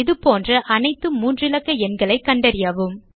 இதுபோன்ற அனைத்து 3 இலக்க எண்களைக் கண்டறியவும்